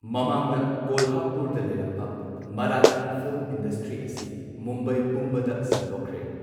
ꯃꯃꯥꯡꯗ ꯀꯣꯜꯍꯥꯄꯨꯔꯗ ꯂꯩꯔꯝꯕ ꯃꯔꯥꯊꯤ ꯐꯤꯜꯝ ꯏꯟꯗꯁꯇ꯭ꯔꯤ ꯑꯁꯤ ꯃꯨꯝꯕꯥꯏ ꯄꯨꯝꯕꯗ ꯁꯟꯗꯣꯛꯈ꯭ꯔꯦ꯫